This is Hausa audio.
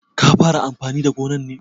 Ka fara amfani da gonar ne?